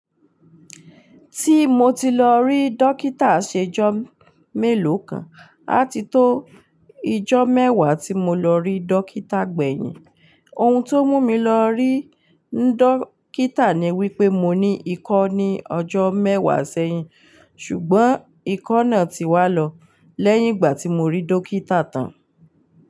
Ti mo ti lọ rí dókítà ṣe ìjọ́ mélòó kan àti tó ìjọ́ mẹ́wàá tí mo lọ rí dókítà gbẹ̀yìn. Ohun tó mú mi lọ rí dókítà ni wípé mo ní ikọ́ ní ọjọ́ mẹ́wàá sẹ́yìn. Ṣùgbọ́n ikọ́ náà ti wá lọ lẹ́yìn ìgbà tí mo rí dókítà tán.